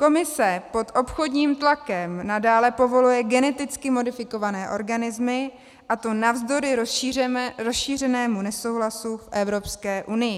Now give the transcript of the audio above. Komise pod obchodním tlakem nadále povoluje geneticky modifikované organismy, a to navzdory rozšířenému nesouhlasu v Evropské unii.